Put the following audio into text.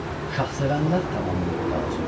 Şahsevənlər tamam möhtacı.